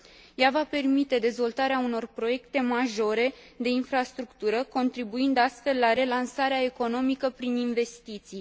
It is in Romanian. Ea va permite dezvoltarea unor proiecte majore de infrastructură, contribuind, astfel, la relansarea economică prin investiții.